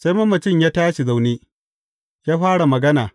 Sai mamacin ya tashi zaune, ya fara magana.